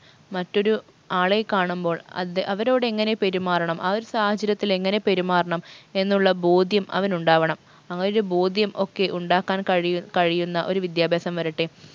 മറ്റൊരു ആളെ കാണുമ്പോൾ അദ്ദേ അവരോടെങ്ങനെ പെരുമാറണം ആ ഒരു സാഹചര്യത്തിൽ എങ്ങനെ പെരുമാറണം എന്നുള്ള ബോധ്യം അവനുണ്ടാവണം ആ ഒരു ബോധ്യം ഒക്കെ ഉണ്ടാക്കാൻ കഴിയു കഴിയുന്ന ഒരു വിദ്യാഭ്യാസം വരട്ടെ